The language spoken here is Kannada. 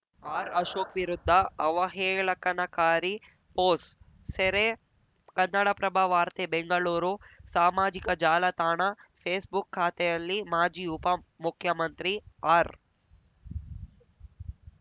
ಆರ್‌ಅಶೋಕ್‌ ವಿರುದ್ಧ ಅವಹೇಳಕನಕಾರಿ ಪೋಸ್ ಸೆರೆ ಕನ್ನಡಪ್ರಭ ವಾರ್ತೆ ಬೆಂಗಳೂರು ಸಾಮಾಜಿಕ ಜಾಲತಾಣ ಫೇಸ್‌ಬುಕ್‌ ಖಾತೆಯಲ್ಲಿ ಮಾಜಿ ಉಪಮುಖ್ಯಮಂತ್ರಿ ಆರ್‌